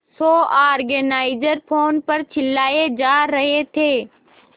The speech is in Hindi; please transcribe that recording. शो ऑर्गेनाइजर फोन पर चिल्लाए जा रहे थे